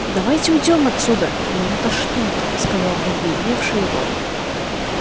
давайте уйдём отсюда меня тошнит сказал побледневший рон